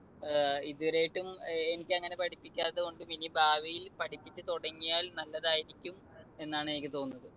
ഏർ ഇതുവരെയായിട്ടും ഏർ എനിക്ക് അങ്ങനെ പഠിപ്പിക്കാത്തതുകൊണ്ടു ഇനി ഭാവിയിൽ പഠിപ്പിച്ചുതുടങ്ങിയാൽ നല്ലതായിരിക്കും എന്നാണ് എനിക്ക് തോന്നുന്നത്.